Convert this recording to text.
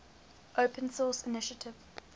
open source initiative